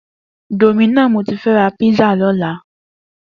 Domino ni mó ti fè rà pizza lòlá